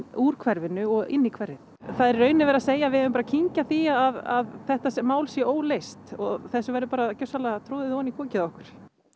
úr hverfinu og inn í hverfið það er í raun bara verið að segja að við eigum að kyngja því að þetta mál sé óleyst og þessu verði bara gjörsamlega troðið ofan í kokið á okkur